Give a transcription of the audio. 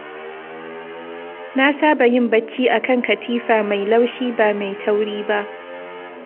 Na saba yin bacci a kan katifa mai laushi, ba mai tauri ba.